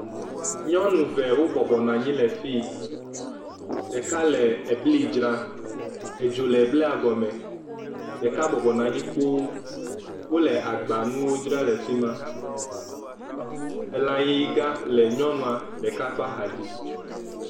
Nyɔnu ve wobɔbɔ nɔ anyi lefi ɖeka le ebli dzram edzo le blia gɔme ɖeka bɔbɔ nɔ anyi kpoo wole agbanuwo dzra le fima elayiga le nyɔnua ɖeka ƒe axadzi